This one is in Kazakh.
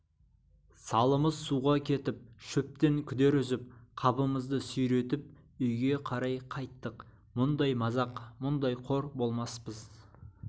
салымыз суға кетіп шөптен күдер үзіп қабымызды сүйретіп үйге қарай қайттық мұндай мазақ мұндай қор болмаспыз